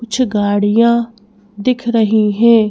कुछ गाड़ियां दिख रही है।